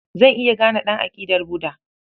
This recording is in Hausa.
Zan iya gane ɗan aƙidar Buda.